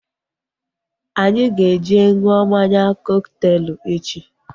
Anyị ga eje ṅụọ mmanya kọkteelu echi